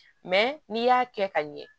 n'i y'a kɛ ka ɲɛ